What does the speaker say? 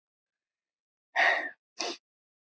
Ég trúi því ekki enn.